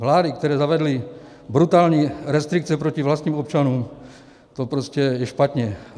Vlády, které zavedly brutální restrikce proti vlastním občanům, to je prostě špatně.